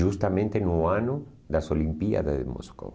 Justamente no ano das Olimpíadas de Moscou.